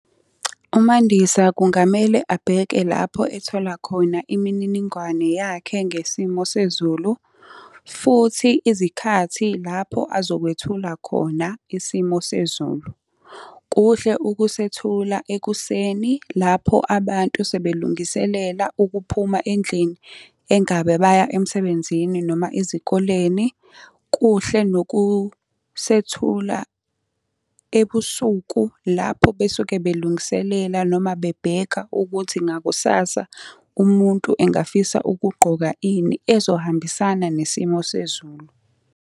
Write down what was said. UMandisa kungamele abheke lapho ethola khona imininingwane yakhe ngesimo sezulu, futhi izikhathi lapho azokwethula khona isimo sezulu. Kuhle ukusethula ekuseni lapho abantu sebelungiselela ukuphuma endlini, engabe baya emsebenzini, noma ezikoleni. Kuhle nokusethula ebusuku lapho besuke belungiselela noma bebheka ukuthi ngakusasa umuntu engafisa ukugqoka ini ezohambisana nesimo sezulu.